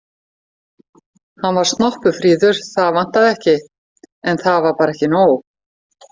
Hann var snoppufríður, það vantaði ekki, en það var bara ekki nóg.